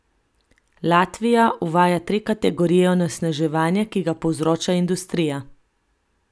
Latvija uvaja tri kategorije onesnaževanja, ki ga povzroča industrija.